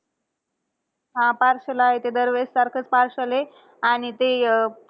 हा partial आहे. ते दरवेळेस सारखंच partial आहे. आणि ते अं